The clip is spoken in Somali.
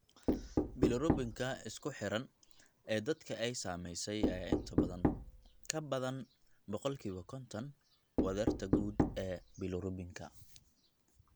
Bilirubin-ka isku xidhan ee dadka ay saamaysay ayaa inta badan ka badan boqolkiba konton wadarta guud ee bilirubinka.